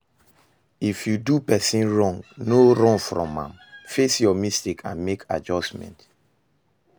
If you do person wrong, no run from am, face your mistake and make adjustment